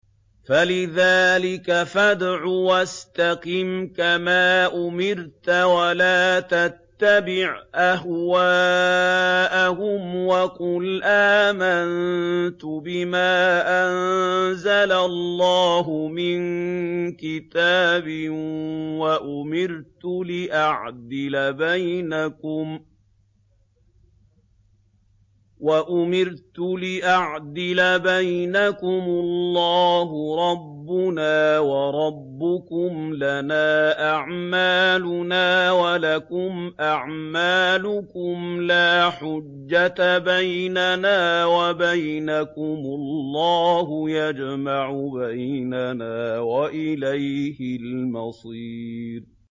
فَلِذَٰلِكَ فَادْعُ ۖ وَاسْتَقِمْ كَمَا أُمِرْتَ ۖ وَلَا تَتَّبِعْ أَهْوَاءَهُمْ ۖ وَقُلْ آمَنتُ بِمَا أَنزَلَ اللَّهُ مِن كِتَابٍ ۖ وَأُمِرْتُ لِأَعْدِلَ بَيْنَكُمُ ۖ اللَّهُ رَبُّنَا وَرَبُّكُمْ ۖ لَنَا أَعْمَالُنَا وَلَكُمْ أَعْمَالُكُمْ ۖ لَا حُجَّةَ بَيْنَنَا وَبَيْنَكُمُ ۖ اللَّهُ يَجْمَعُ بَيْنَنَا ۖ وَإِلَيْهِ الْمَصِيرُ